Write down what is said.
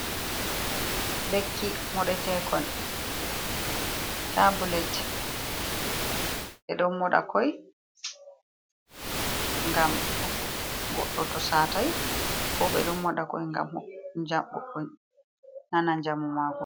Lekki moɗetekon tablet, ɓe ɗon moɗa koi gam goddo to satai, ko ɓe ɗo moɗa koi gam jamo nana jamu mako.